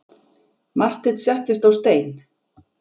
Marteinn settist á stein.